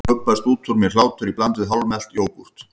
Þá gubbast út úr mér hlátur í bland við hálfmelt jógúrt.